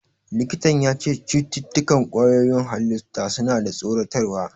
Likitan ya ce "Cututtukan ƙwayoyin halitta suna da tsoratarwa".